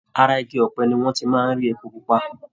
Ara igi ọ̀pẹ ni wọ́n ti máa ń rí epo pupa.